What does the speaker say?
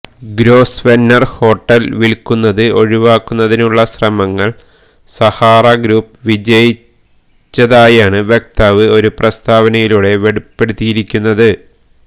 gross വെനർ hotel വിൽക്കുന്നത് ഒഴിവാക്കുന്നതിനുള്ള ശ്രമങ്ങളിൽ സഹാറ ഗ്രൂപ്പ് വിജയിച്ചതായാണ് വക്താവ് ഒരു പ്രസ്താവനയിലൂടെ വെളിപ്പെടുത്തിയിരിക്കുന്നത്